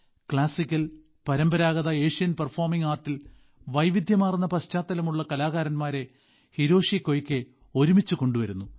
classical പരമ്പരാഗത Asian performing ആർട്ടിൽ വൈവിധ്യമാർന്ന പശ്ചാത്തലമുള്ള കലാകാരന്മാരെ ഹിരോഷി കൊയ്കെ ഒരുമിച്ച് കൊണ്ടുവരുന്നു